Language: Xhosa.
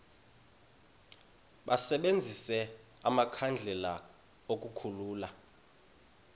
basebenzise amakhandlela ukukhulula